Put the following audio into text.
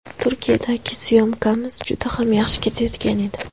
Turkiyadagi syomkamiz juda ham yaxshi ketayotgan edi.